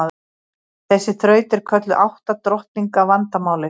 Þessi þraut er kölluð átta drottninga vandamálið.